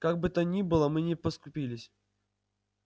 как бы то ни было мы не поскупились